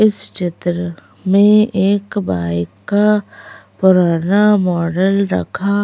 इस चित्र में एक बाइक का पुराना मॉडल रखा--